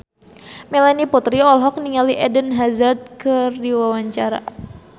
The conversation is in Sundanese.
Melanie Putri olohok ningali Eden Hazard keur diwawancara